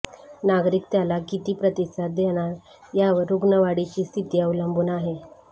नागरिक त्याला किती प्रतिसाद देणार यावर रुग्णवाढीची स्थिती अवलंबून आहे